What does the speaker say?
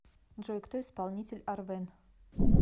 джой кто исполнитель арвен